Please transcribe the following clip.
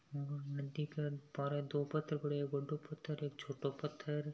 नदी क बार दो पत्थर पड़े है दो बड़ा पत्थर एक छोटो पत्थर हैं।